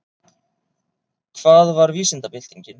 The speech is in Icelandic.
Hvað var vísindabyltingin?